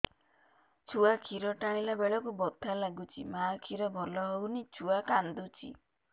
ଛୁଆ ଖିର ଟାଣିଲା ବେଳକୁ ବଥା ଲାଗୁଚି ମା ଖିର ଭଲ ହଉନି ଛୁଆ କାନ୍ଦୁଚି